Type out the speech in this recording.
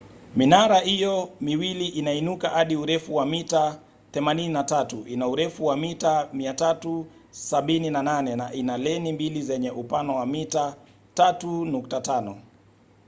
minara hiyo miwili inainuka hadi urefu wa mita 83 ina urefu wa mita 378 na ina leni mbili zenye upana wa mita 3.50